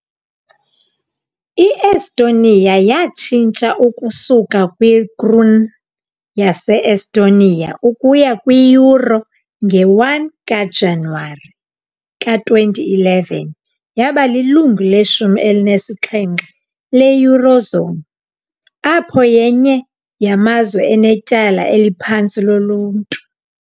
I-Estonia yatshintsha ukusuka kwi- kroon yase-Estonia ukuya kwi- euro nge-1 kaJanuwari ka-2011, yaba lilungu leshumi elinesixhenxe le- eurozone, apho yenye yamazwe anetyala eliphantsi loluntu .